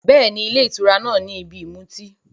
Bẹ́ẹ̀ni, ilé ìtura náà ni ibi ìmutí.